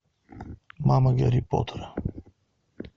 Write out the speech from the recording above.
мама гарри поттера